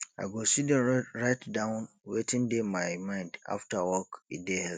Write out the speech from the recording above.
i go sidon write down wetin dey my mind after work e dey help